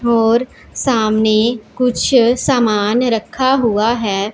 और सामने कुछ सामान रखा हुआ है।